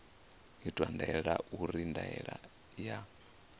u itwa uri ndaela ya